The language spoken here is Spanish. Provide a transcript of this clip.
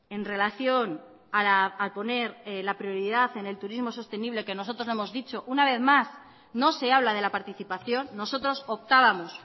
en relación a poner la prioridad en el turismo sostenible que nosotros no hemos dicho una vez más no se habla de la participación nosotros optábamos